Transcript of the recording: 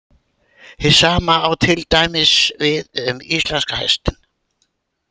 Hið sama á til dæmis við um íslenska hestinn.